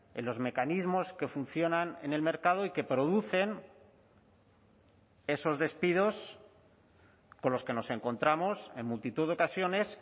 en los mecanismos que funcionan en el mercado y que producen esos despidos con los que nos encontramos en multitud de ocasiones